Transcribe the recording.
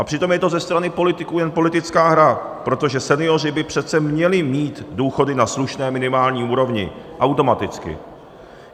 A přitom je to ze strany politiků jen politická hra, protože senioři by přece měli mít důchody na slušné minimální úrovni automaticky.